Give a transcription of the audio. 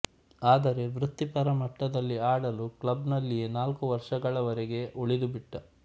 ಆದರೆ ವೃತ್ತಿಪರ ಮಟ್ಟದಲ್ಲಿ ಆಡಲು ಕ್ಲಬ್ ನಲ್ಲಿಯೇ ನಾಲ್ಕು ವರ್ಷಗಳವರೆಗೆ ಉಳಿದುಬಿಟ್ಟ